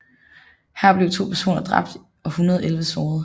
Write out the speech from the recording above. Her blev to personer dræbt og 111 såret